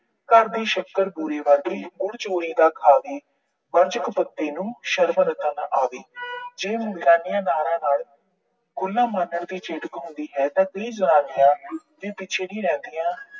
ਘਰ ਦੀ ਸ਼ੱਕਰ ਬੂਰੇ ਵਰਗੀ, ਗੁੜ ਚੋਰੀ ਦਾ ਖਾਵੇ। ਵਰਜ ਕਪੱਤੇ ਨੂੰ, ਸ਼ਰਮ ਰਤਾ ਨਾ ਆਵੇ। ਜੇ ਨਾਰਾਂ ਨਾਲ ਮਾਣਨ ਦੀ ਚੇਤਕ ਹੁੰਦੀ ਹੈ ਤਾਂ ਇਹ ਨਾਰੀਆਂ ਵੀ ਪਿੱਛੇ ਨਹੀਂ ਰਹਿੰਦੀਆਂ।